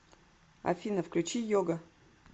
афина включи йога